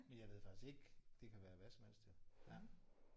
Men jeg ved faktisk ikke. Det kan være hvad som helst jo ja